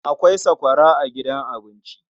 Akwai sakwara a gidan abinci..